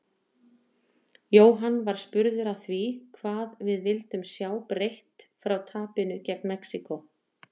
Jóhann var spurður að því hvað við vildum sjá breytt frá tapinu gegn Mexíkó?